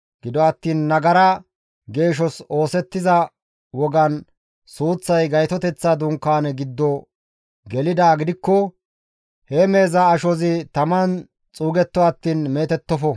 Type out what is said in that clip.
Gido attiin nagara geeshos oosettiza wogan suuththay Gaytoteththa Dunkaane giddo gelidaa gidikko he meheza ashozi taman xuugetto attiin meetettofo.